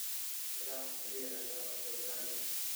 Ilaah keliya ayaa u gargaari doona.